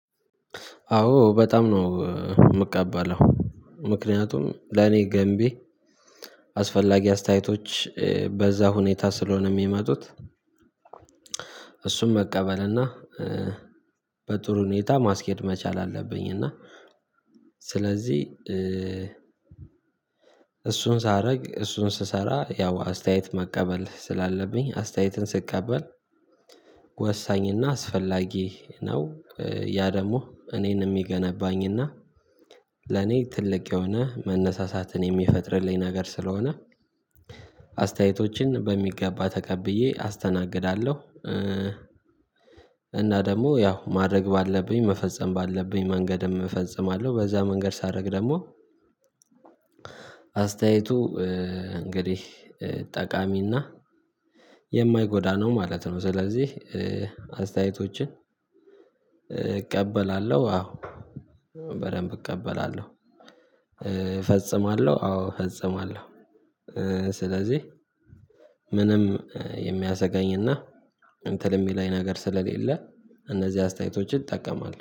አዎ በጣም ነው የምቀባለው ምክንያቱም ለኔ ገንቢ አስፈላጊ አስተያየቶች በዛ ሁኔታ ስለሆነ የሚመጡት እሱን መቀበል እና በጥሩ ሁኔታ ማስኬድ መቻል አለብኝ። እና ስለዚህ እሱን ሳደርግ እሱን ስሰራ ያው አስተያየት መቀበል ስላለብኝ አስተያየትን ስቀበል ወሳኝና አስፈላጊ ነው። ያ ደግሞ እኔን የሚገነባኝና ለኔ ትልቅ የሆነ መነሳሳትን የሚፈጥርልኝ ነገር ስለሆነ አስተያየቶችን በሚገባ ተቀብዬ አስተናግዳለሁ። እና ደግሞ ያው ማድረግ ባለብኝ መፈጸም ባለብኝ መንገድም እፈጽማለሁ። በዛ መንገድ ሳደርግ ደግሞ አስተያየቱ እንግዲህ ጠቃሚና የማይጎዳ ነው ማለት ነው። ስለዚህ አስተያየቶችን እቀበላለሁ አዎ በደንብ እቀበላለሁ እፈጽማለሁ አዎ እፈጽማለሁ። ስለዚህ ምንም የሚያሰጋኝና እንትን የሚለኝ ነገር ስለሌለ እነዚህ አስተያየቶችን ይጠቀማሉ